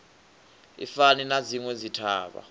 i fani na dzinwe dzithavha